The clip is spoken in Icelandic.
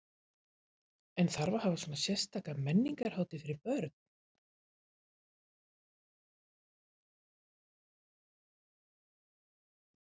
En þarf að hafa svona sérstaka menningarhátíð fyrir börn?